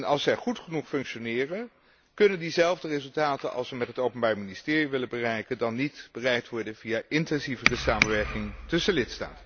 Als zij goed genoeg functioneren, kunnen diezelfde resultaten die we met het openbaar ministerie willen bereiken, niet bereikt worden via intensievere samenwerking tussen lidstaten?